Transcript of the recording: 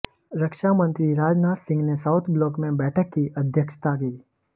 रक्षा मंत्री राजनाथ सिंह ने South Block में बैठक की अध्यक्षता की